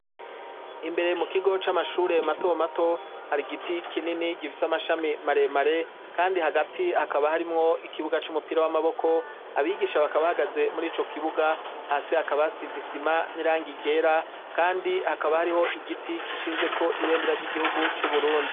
Imbere mu kigo c'amashure mato mato, hari igiti kinini gifise amashami maremare, kandi hagati hakaba harimwo ikibuga c'umupira w'amaboko, abigisha bakaba bahagaze murico kibuga, hasi hakaba hasize isima n'irangi ryera, kandi hakaba hariho igiti gishinzeko ibendera ry'igihugu c'u Burundi.